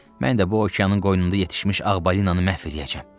Mən də bu okeanın qoynunda yetişmiş ağ balinanı məhv eləyəcəyəm.